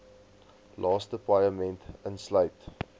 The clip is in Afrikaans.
laaste paaiement insluit